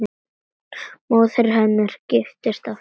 Móðir hennar giftist aftur.